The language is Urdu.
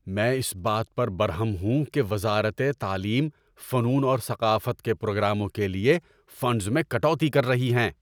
میں اس بات پر برہم ہوں کہ وزارت تعلیم فنون اور ثقافت کے پروگراموں کے لیے فنڈز میں کٹوتی کر رہی ہے۔